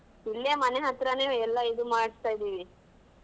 ಇಲ್ಲೇ ಮನೆ ಹತ್ರನೇ ಎಲ್ಲ ಇದು ಮಾಡ್ಸತ್ತ ಇದ್ದಿವಿ.